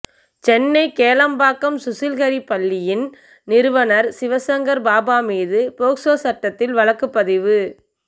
சென்னை கேளம்பாக்கம் சுஷில்ஹரி பள்ளியின் நிறுவனர் சிவசங்கர் பாபா மீது போக்சோ சட்டத்தில் வழக்குப்பதிவு